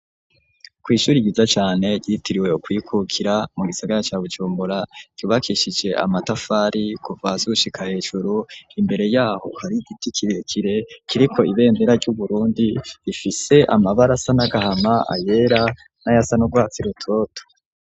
Kw'ishure ryiza cane ryitiriwe ukwikukira mu gisagara ca bucumbura ryubakishije amatafari kuva hasi gushika hejuru imbere yaho kari giti kirekire kiriko ibendera ry'uburundi ifise amabara asa n'agahama ayera n'ayasanurwatsi rutoto.